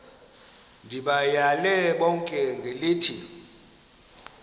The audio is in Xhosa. ndibayale bonke ngelithi